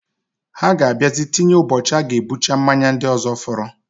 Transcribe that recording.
Ha ga abiazi tinye ụbochi aga ebucha mmanya ndi ozo foro.